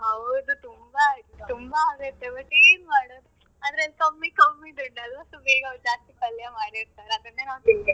ಹೌದು ತುಂಬಾ ಆಗತ್ತೆ but ಏನ್ ಮಾಡೋದು ಅದರಲ್ಲಿ ಕಮ್ಮಿ ಕಮ್ಮಿ ದುಡ್ಡು ಅಲ್ವ so ಬೇಗ ಅವ್ರು ಜಾಸ್ತಿ ಪಲ್ಯ ಮಾಡಿರ್ತಾರೆ ಅದನ್ನೇ ನಾವ್ ತಿನ್ಬೇಕು.